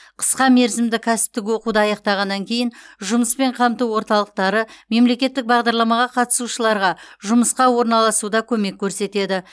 қысқа мерзімді кәсіптік оқуды аяқтағаннан кейін жұмыспен қамту орталықтары мемлекеттік бағдарламаға қатысушыларға жұмысқа орналасуда көмек көрсетеді